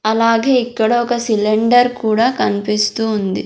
అలాగే ఇక్కడ ఒక సిలిండర్ కూడా కనిపిస్తూ ఉంది.